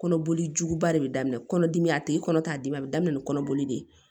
Kɔnɔboli juguba de bɛ daminɛ kɔnɔdimi a tigi kɔnɔ t'a dimi a bɛ daminɛ ni kɔnɔboli de ye